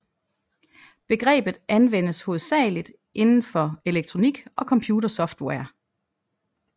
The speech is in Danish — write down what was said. Begrebet anvendes hovedsagelig indenfor elektronik og computersoftware